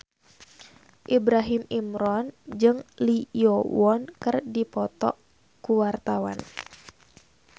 Ibrahim Imran jeung Lee Yo Won keur dipoto ku wartawan